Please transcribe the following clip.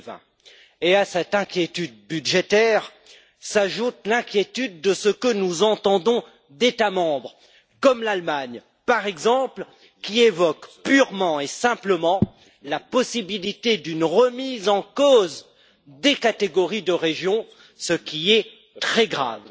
2020. À cette inquiétude budgétaire s'ajoute l'inquiétude de ce que nous entendons d'États membres comme l'Allemagne, par exemple, qui évoque purement et simplement la possibilité d'une remise en cause des catégories de régions, ce qui est très grave.